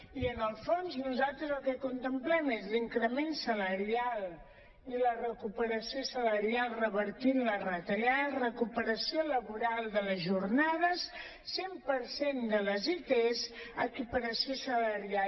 i en el fons nosaltres el que contemplem és l’increment salarial i la recuperació salarial revertint les retallades recuperació laboral de les jornades cent per cent de les its equiparació salarial